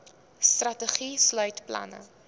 strategie sluit planne